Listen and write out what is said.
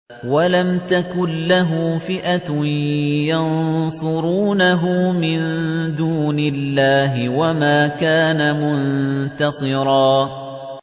وَلَمْ تَكُن لَّهُ فِئَةٌ يَنصُرُونَهُ مِن دُونِ اللَّهِ وَمَا كَانَ مُنتَصِرًا